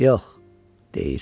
Yox, deyir.